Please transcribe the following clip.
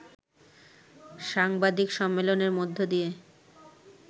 সাংবাদিক সম্মেলনের মধ্য দিয়ে